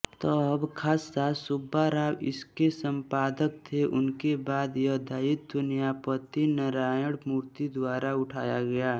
तब खासा सुब्बाराव इसके संपादक थे उनके बाद यह दायित्व न्यायपति नारायणमूर्ति द्वारा उठाया गया